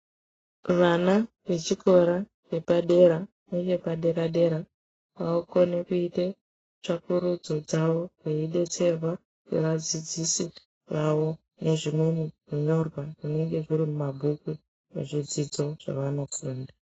Vana vechikora chepadera nevepadera dera avakoni kuite tsvakurudzo dzavo veidetserwa ngevadzidzisi vavo zvimweni zvinyorwa zvinenge zviri mumabhuku nezvidzidzo zvavanofunda.